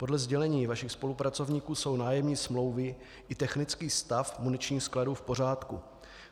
Podle sdělení vašich spolupracovníků jsou nájemní smlouvy i technický stav muničních skladů v pořádku.